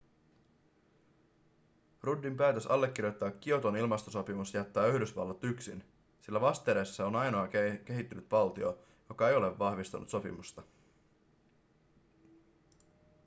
ruddin päätös allekirjoittaa kioton ilmastosopimus jättää yhdysvallat yksin sillä vastedes se on ainoa kehittynyt valtio joka ei ole vahvistanut sopimusta